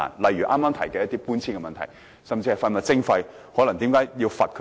例如剛才提到的搬遷問題，甚至廢物徵費，為何向他們罰款呢？